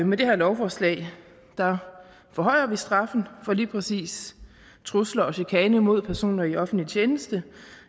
med det her lovforslag forhøjer vi straffen for lige præcis trusler og chikane mod personer i offentlig tjeneste